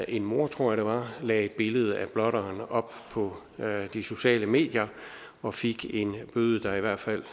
en mor tror jeg lagde et billede af blotteren op på de sociale medier og fik en bøde der i hvert fald